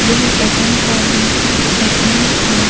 यह बजन तौलने की मशीन है।